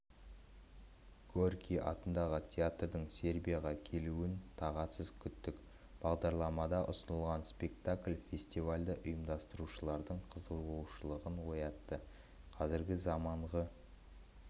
горький атындағы театрдың сербияға келуін тағатсыз күттік бағдарламада ұсынылған спектакль фестивальді ұйымдастырушылардың қызығушылығын оятты қазіргі заманғы